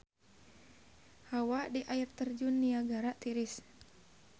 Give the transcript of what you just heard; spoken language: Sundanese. Hawa di Air Terjun Niagara tiris